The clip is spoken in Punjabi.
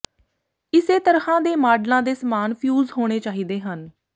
ਇਸੇ ਤਰ੍ਹਾਂ ਦੇ ਮਾਡਲਾਂ ਦੇ ਸਮਾਨ ਫਿਊਜ਼ ਹੋਣੇ ਚਾਹੀਦੇ ਹਨ